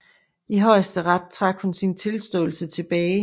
I højesteret trak hun sin tilståelse tilbage